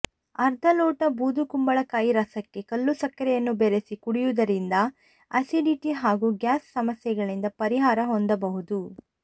ಅರ್ಧ ಲೋಟ ಬೂದು ಕುಂಬಳಕಾಯಿ ರಸಕ್ಕೆ ಕಲ್ಲು ಸಕ್ಕರೆಯನ್ನು ಬೆರೆಸಿ ಕುಡಿಯುವುದರಿಂದ ಅಸಿಡಿಟಿ ಹಾಗೂ ಗ್ಯಾಸ್ ಸಮಸ್ಯೆಗಳಿಂದ ಪರಿಹಾರ ಹೊಂದಬಹುದು